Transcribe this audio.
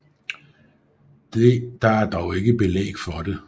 Der er dog ikke belæg for det